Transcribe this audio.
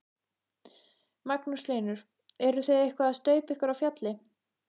Magnús Hlynur: Eruð þið eitthvað að staupa ykkur á fjalli?